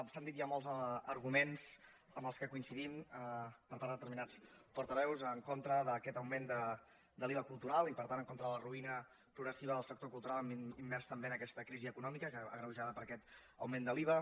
s’han dit ja molts arguments amb què coincidim per part de determinats portaveus en contra d’aquest augment de l’iva cultural i per tant en contra de la ruïna progressiva del sector cultural immers també en aquesta crisi econòmica agreujada per aquest augment de l’iva